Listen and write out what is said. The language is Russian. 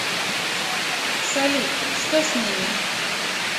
салют что с ними